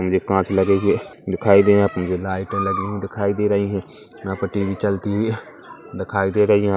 ये कांच लगे हुए दिखाई दे रही है पीछे लाइटे लगी हुई दिखाई दे रही हैं यहाँ पर टी_वी चलती हुई दिखाई दे रही है।